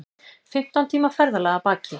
Fimmtán tíma ferðalag að baki